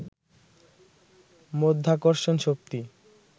মাধ্যাকর্ষণ শক্তি